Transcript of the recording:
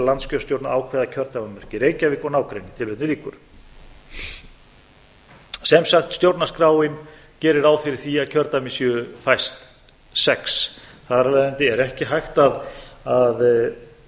landskjörstjórn að ákveða kjördæmamörk í reykjavík og nágrenni sem sagt stjórnarskráin gerir ráð fyrir því að kjördæmin séu fæst sex þar af leiðandi er ekki hægt að